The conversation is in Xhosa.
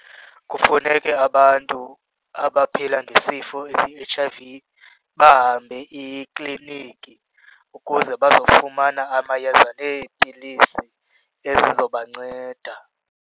Kufuneke abantu abaphila ngesifo esiyi-H_I_V bahambe ikliniki ukuze bazofumana amayeza neepilisi ezizobanceda.